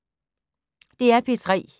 DR P3